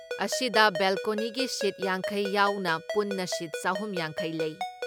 ꯑꯁꯤꯗ ꯕꯦꯜꯀꯣꯅꯤꯒꯤ ꯁꯤꯠ ꯌꯥꯡꯈꯩ ꯌꯥꯎꯅ ꯄꯨꯟꯅ ꯁꯤꯠ ꯆꯍꯨꯝ ꯌꯥꯡꯈꯩ ꯂꯩ ꯫